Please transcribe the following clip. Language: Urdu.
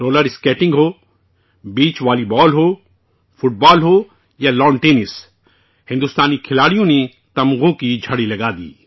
رولر اسکیٹنگ ہو، بیچ والی بال ہو، فٹ بال ہو، یا ٹینس، ہندوستانی کھلاڑیوں نے میڈل کی جھڑی لگا دی